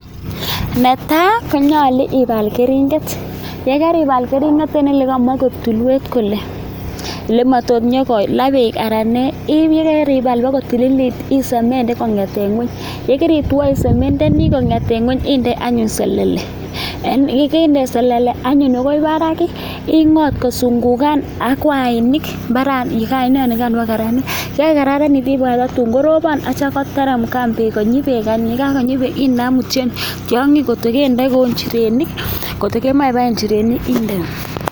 Netai konyulo ibal keringet, ye keibal keringet en ole kamach koik tulwet kole lematot konyokala beek anan nee, ye keibal bagotililit isemenden kong'eten ng'weny ye keritwo isemendeni kong'eten ng'weny inde anyun selele, ye keinde selele anyun agoi barak ing'ot kusungukan ak wainik mbaranikan bago kararanit. Ye kagokararanit ibagach tatun korobon ak kityo koteremkan beek konyi beek. Ye kagonyi beek inam imutyi tiong'ik angot ko kendoi kou njirenik, kotokemoche ibaen njirenik inde.